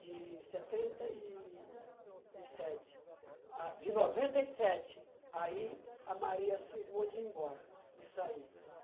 de setenta e sete, a de noventa e sete, aí a Maria cismou de ir embora, de sair.